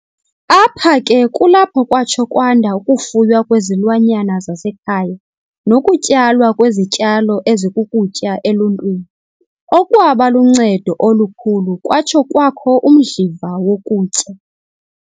Apha ke kulapho kwatsho kwanda ukufuywa kwezilwanyana zasekhaya nokutyalwa kwezityalo ezikukutya eluntwini, okwaba luncedo olukhulu kwatsho kwakho umdliva wokutya.